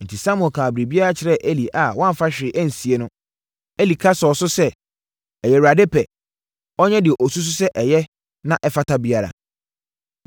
Enti, Samuel kaa biribiara kyerɛɛ Eli a wamfa hwee ansie no. Eli ka sɔɔ so sɛ, “Ɛyɛ Awurade pɛ. Ɔnyɛ deɛ ɔsusu sɛ ɛyɛ na ɛfata biara.”